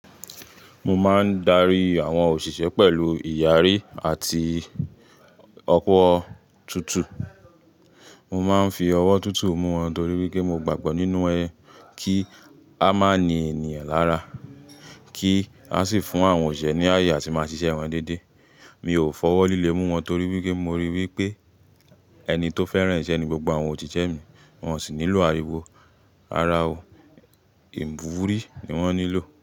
Mo máa ń darí àwọn òṣìṣẹ́ pẹ̀lú ìyàrí àti ọ̀wọ̀ òtútù. Mo máa ń fi ọwọ́ tuntun mú wọn torí wípé mo gbàgbọ́ nínú ẹ kí a má ní ènìyàn lára, kí a sì fún àwọn òṣìṣẹ́ ní àyè àti máa ṣiṣẹ́ wọn dédé. Mi ò fọwọ́ líle mú wọn torí wípé mo ríi wípé ẹni tó fẹ́ran iṣẹ́ ni gbogbo àwọn òṣiṣẹ mi. Wọn sì nílò àríwó, ara ò, ìwúrí ni wọ́n nílò.